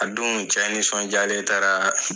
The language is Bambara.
A don cɛ nisɔndiyalen taara